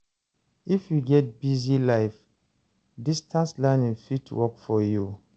If you get busy life, distance learning fit work for you.